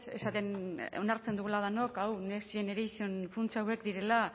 esaten onartzen dugula denok hau next generation funts hauek direla